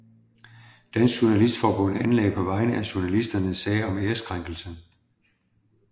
Dansk Journalistforbund anlagde på vegne af journalisterne sag om ærekrænkelse